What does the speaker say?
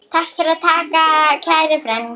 Takk fyrir allt, kæri frændi.